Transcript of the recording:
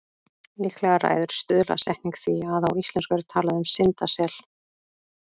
Líklega ræður stuðlasetning því að á íslensku er talað um syndasel.